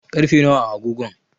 karfe nawa a agogon?